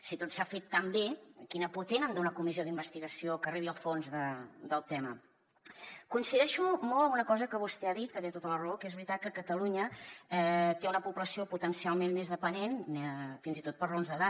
si tot s’ha fet tan bé quina por tenen d’una comissió d’investigació que arribi al fons del tema coincideixo molt en una cosa que vostè ha dit que té tota la raó que és veritat que catalunya té una població potencialment més dependent fins i tot per raons d’edat